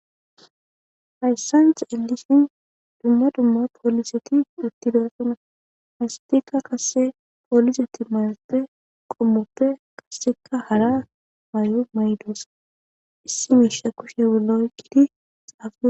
Hayssanctha illisin dumma dumma pooliseti uttibeasuna hastika kase pooliseti mayate qommoppe kaseka hara may'o maydosa issi miisha kushe wola oyqqidi xaafi